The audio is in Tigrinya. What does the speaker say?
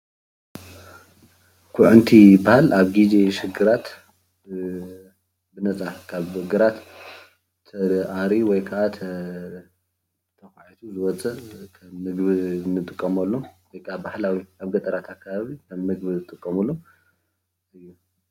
ኩዕንቲ ይበሃል። ኣብ ግዜ ሽግራት ካብ ግራት ኹዒትካ ወይ ከዓ ተኣርዩ ብፍላይ ኣብ ገጠር ኸባቢ ንምግብነት ይውዕል።